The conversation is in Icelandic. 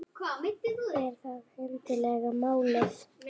Er það endilega málið?